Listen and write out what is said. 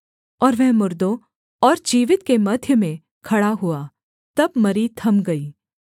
और वह मुर्दों और जीवित के मध्य में खड़ा हुआ तब मरी थम गई